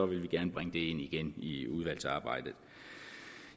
vi gerne bringe det ind igen i udvalgsarbejdet